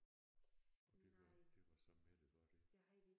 Og det var det var så Mette var det